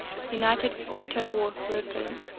united auto workers